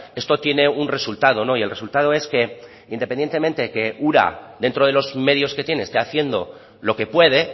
esto tiene un resultado y el resultado es que independientemente que ura dentro de los medios que tiene esté haciendo lo que puede